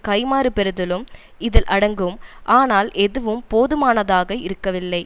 கைமாறு பெறுதலும் இதில் அடங்கும் ஆனால் எதுவும் போதுமானதாக இருக்கவில்லை